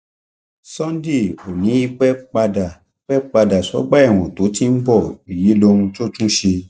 sunday ò ní í pẹ padà pẹ padà sọgbà ẹwọn tó ti ń bọ èyí lóhun tó tún ṣe